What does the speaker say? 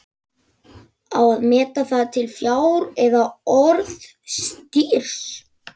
Á að meta það til fjár eða orðstírs?